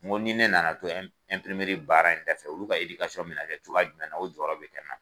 Nko ni ne nana to baara in dafɛ olu ka bɛ na kɛ cogoya jumɛnna o jɔyɔrɔ bɛ kɛ na.